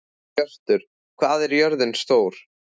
Hjörtur, hvað er jörðin stór?